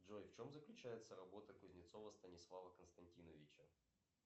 джой в чем заключается работа кузнецова станислава константиновича